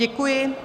Děkuji.